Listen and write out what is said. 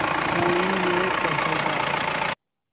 कोई ये कहेगा